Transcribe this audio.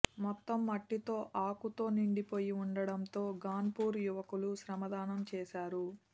మొత్తం మట్టితో ఆకుతో నిండిపోయి ఉండడంతో గన్పూర్ యువకులు శ్రమదానం చేశారు